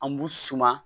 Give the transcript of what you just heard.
An b'u suma